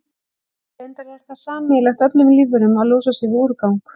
Reyndar er það sameiginlegt öllum lífverum að losa sig við úrgang.